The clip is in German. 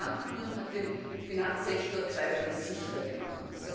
Die Bankenunion hat den Finanzsektor zweifellos sicherer gemacht.